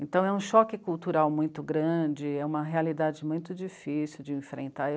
Então é um choque cultural muito grande, é uma realidade muito difícil de enfrentar.